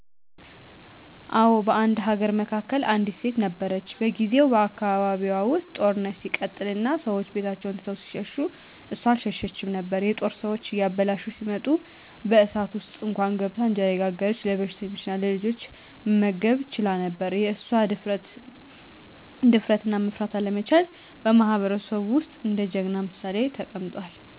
አዎ፣ በአንድ አገር መካከል አንዲት ሴት ነበረች። በጊዜው በአካባቢዋ ውስጥ ጦርነት ሲቀጥል እና ሰዎች ቤታቸውን ትተው ሲሸሹ እሷ አልሸሸችም ነበር። የጦር ሰዎች እያበላሹ ሲመጡ በእሳት ውስጥ እንኳን ገብታ እንጀራ እየጋገረች ለበሽተኞችና ለልጆች መመገብ ትችላ ነበር። የእሷ ድፍረትና መፍራት አለመቻል በማህበረሰቡ ውስጥ እንደ ጀግናነት ምሳሌ ተቀምጧል።